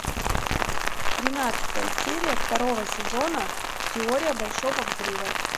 тринадцатая серия второго сезона теория большого взрыва